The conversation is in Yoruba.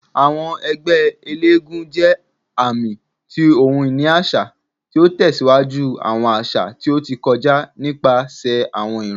Awọn ẹgbẹ elégúnjẹ aami ti ohun-ini aṣa, ti o tẹsiwaju awọn aṣa ti o ti kọja nipasẹ awọn iran.